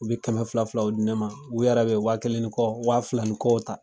U be kɛmɛ fila filaw di ne ma. U yɛrɛ be wa kelen ni kɔ, wa fila ni kɔw ta.